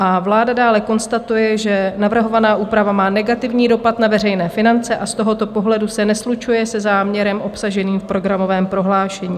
A vláda dále konstatuje, že "navrhovaná úprava má negativní dopad na veřejné finance a z tohoto pohledu se neslučuje se záměrem obsaženým v programovém prohlášení".